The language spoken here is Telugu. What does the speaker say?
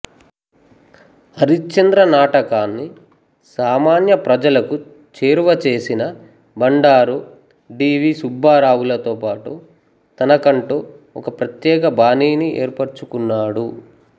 హరిశ్చంద్ర నాటకాన్ని సామాన్య ప్రజలకు చేరువచేసిన బండారుడి వి సుబ్బారావు లతోపాటు తనకంటూ ఒక ప్రత్యేక బాణీని ఏర్పరుచుకున్నాడు